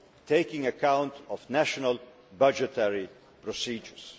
taking account of national budgetary procedures.